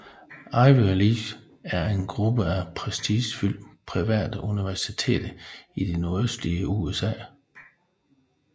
Ivy League er en gruppe af prestigefyldte private universiteter i det nordøstlige USA